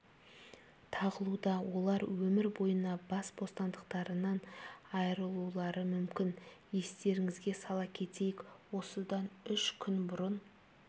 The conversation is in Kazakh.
тағылуда олар өмір бойына бас бостандықтарынан айырылулары мүмкін естеріңізге сала кетейік осыдан үш күн бұрын